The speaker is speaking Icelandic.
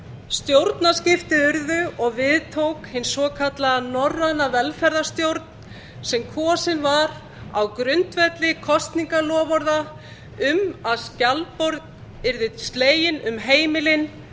stjórnarskipti urðu og við tók hin svokallaða norræna velferðarstjórn sem kosin var á grundvelli kosningaloforða um að skjaldborg yrði slegin um heimilin